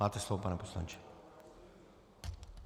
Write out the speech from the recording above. Máte slovo, pane poslanče.